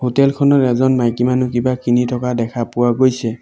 Hotel খনত এজন মাইকী মানুহ কিবা কিনি থকা দেখা পোৱা গৈছে।